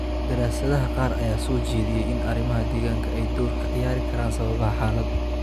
Daraasadaha qaar ayaa soo jeediyay in arrimaha deegaanka ay door ka ciyaari karaan sababaha xaaladda.